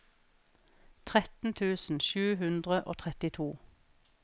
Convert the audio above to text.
tretten tusen sju hundre og trettito